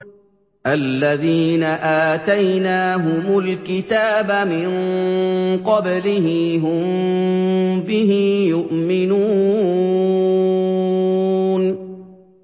الَّذِينَ آتَيْنَاهُمُ الْكِتَابَ مِن قَبْلِهِ هُم بِهِ يُؤْمِنُونَ